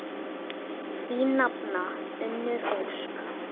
Þín nafna, Unnur Ósk.